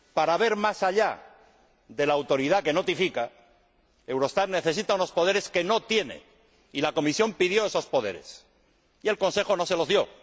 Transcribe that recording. Para ver más allá de la autoridad que notifica, Eurostat necesita unos poderes que no tiene y la Comisión pidió esos poderes y el Consejo no se los dio.